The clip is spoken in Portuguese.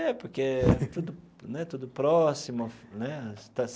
É, porque tudo né tudo próximo né.